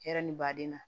Hɛrɛ ni baden na